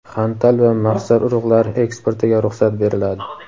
xantal va maxsar urug‘lari eksportiga ruxsat beriladi.